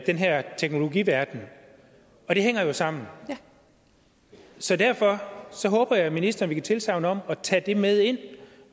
den her teknologiverden og det hænger jo sammen så derfor håber jeg at ministeren vil give tilsagn om at tage det med ind